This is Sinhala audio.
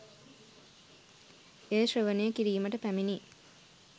එය ශ්‍රවණය කිරීමට පැමිණි